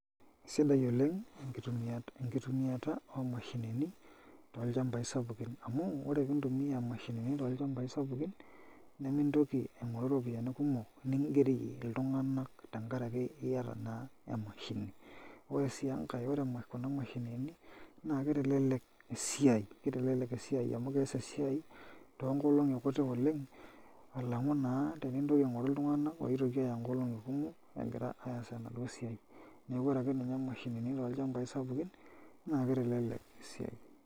Sidai oleng' enkitumiata omashinini tolchambai sapukin amu ore pee intumia imashinini tolchambai sapukin nemintoki aing'oru iropiyiani kumok ningerie iltung'anak tenkaraki niata naa emashini ore sii enkae ore emashini naa kitelelek esiai amu kees esiai toonkolong'i kuti oleng' alang'u naa tenintoki aing'oru iltung'anak oitoki aaya nkolong'i kumok egira aas enaduo siai neeku ore ake ninye imashinini tolchambai sapukin naa kitelelek esiai.